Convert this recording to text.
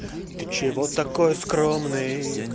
ты чего такой скромный